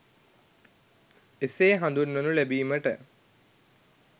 එසේ හඳුන්වනු ලැබීමට